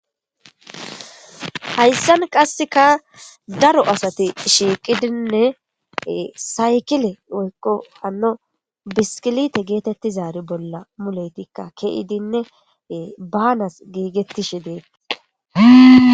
Haysan qassekka daro asati shiqqidinne say saykille woykko bisikkilite gettetizari bolla mulletikka ke'idinne banas giggetishen de'es.